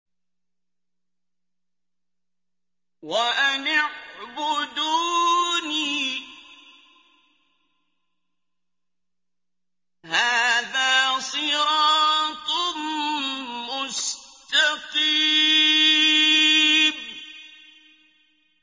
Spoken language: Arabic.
وَأَنِ اعْبُدُونِي ۚ هَٰذَا صِرَاطٌ مُّسْتَقِيمٌ